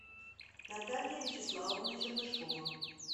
наталья вячеславовна чернышева